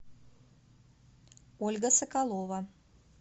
ольга соколова